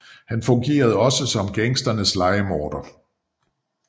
Han fungerede også som gangsternes lejemorder